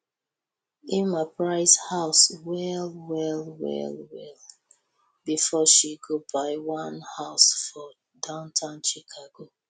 emma price house well well well well befor she go buy one house for downtown chicago